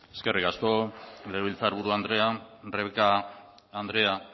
eskerrik asko legebiltzarburu andrea rebeka andrea